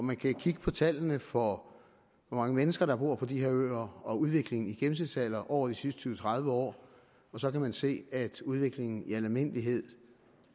man kan kigge på tallene for hvor mange mennesker der bor på de her øer og udviklingen i gennemsnitsalderen over de sidste tyve til tredive år og så kan man se at udviklingen i almindelighed